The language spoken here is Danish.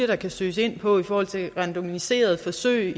der kan søges ind på i forhold til randomiserede forsøg